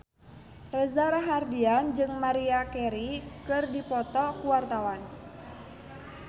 Reza Rahardian jeung Maria Carey keur dipoto ku wartawan